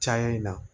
Caya in na